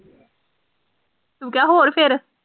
ਤੂੰ ਕਿਹਾ ਹੋਰ ਫਿਰ